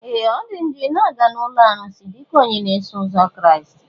Ee! Ọ dị njọ ị ga na ụlọ arụsị dịka onye na-eso ụzọ Kraịst.